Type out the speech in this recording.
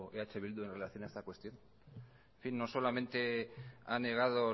eh bildu en relación a esta cuestión en fin no solamente ha negado